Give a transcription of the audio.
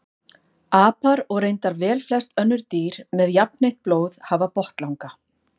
Apar og reyndar velflest önnur dýr með jafnheitt blóð hafa botnlanga.